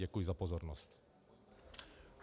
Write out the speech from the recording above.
Děkuji za pozornost.